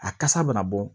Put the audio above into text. A kasa bɛ na bɔ